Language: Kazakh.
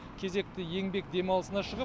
кезекті еңбек демалысына шығып